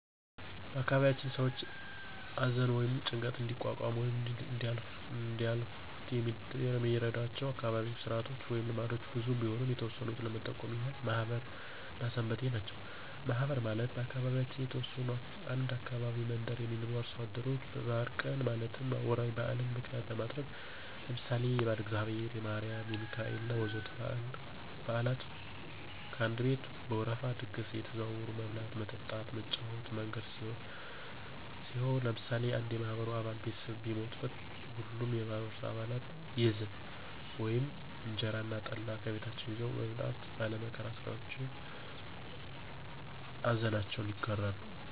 በአካባቢያችን ሰዎች አዘን ወይም ጭንቀት እንዲቋቋሙት ወይም እንዲያልፋት የሚረዷቸው አካባቢያዉ ስርአቶች ወይም ልምዶች ብዙ ቢሆኑም የተወሰኑት ለመጠቆም ያህል ማህበር እና ሰንበቴ ናቸው። ማህበር ማለት በአካባቢያችን የተወሰኑ አንድ አካባቢ መንደር የሚኖሩ አርሶ አደሮች በበአል ቀን ማለትም ወራዊ በአልን ምክንያት በማድረግ ለምሳሌ የባለእግዚአብሔር፣ የማሪም፣ የሚካኤሌ እና ወዘተ በአላት ከአንድ ቤት በወረፋ ድግስ አየተዘዋወሩ መብላት፣ መጠጣት እና መጫወቻ መንገድ ሲሆን ለምሳሌ አንድ የማህበሩ አባል ቤተሰብ ቢሞትበት ሀሉም የማህበሩ አባለት የዝን (እንጀራ እና ጠላ) ከቤታቸው ይዘዉ በመምጣት ባለ መከራ ሰዎችን አዘናቸውን ይጋራሉ።